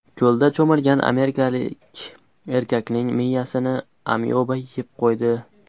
Ko‘lda cho‘milgan amerikalik erkakning miyasini amyoba yeb qo‘ydi.